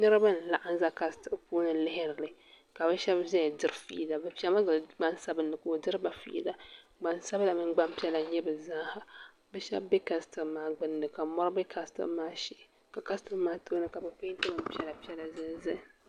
Niriba n laɣim za kastil puuni lihirili ka bɛ sheba zaya diri fiila bɛ piɛmi gili gbansabili ka o diriba fiila gbansabla mini gbampiɛla n nyɛba bɛ zaaha bɛ sheba bɛ kastil maa gbinni ka mori be kastil maa shee ka kastil maa tooni ka bɛ penti bin piɛla piɛla zali zali.